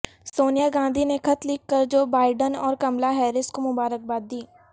سونیا گاندھی نے خط لکھ کر جو بائیڈن اور کملا ہیرس کو مبارکباد دی